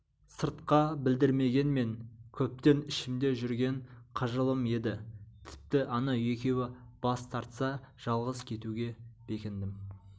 сыртқа білдірмегенмен көптен ішімде жүрген қыжылым еді тіпті анау екеуі бас тартса жалғыз кетуге бекіндім